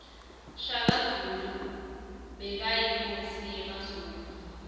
shaka zulu bekayinkosi yemazulu